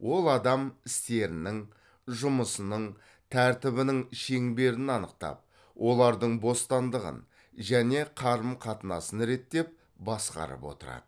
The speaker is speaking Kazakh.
ол адам істерінің жұмысының тәртібінің шеңберін анықтап олардың бостандығын және қарым қатынасын реттеп басқарып отырады